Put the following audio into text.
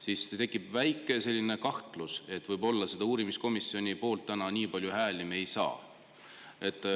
tekib väike kahtlus, et võib-olla me selle uurimiskomisjoni poolt täna nii palju hääli ei saa.